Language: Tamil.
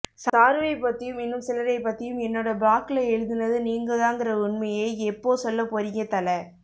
சாருவை பத்தியும் இன்னும் சிலரை பத்தியும் என்னோட ப்ளாக்குல எழுதினது நீங்கதான்கிற உன்மையை எப்போ சொல்ல போறீங்க தல